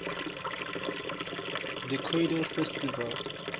the cradle festival